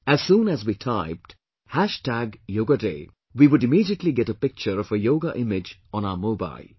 As soon as we typed 'hash tag yoga day', we would immediately get a picture of a yoga image on our mobile